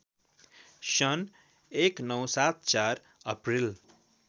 सन् १९७४ अप्रिल